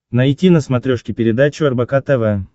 найти на смотрешке передачу рбк тв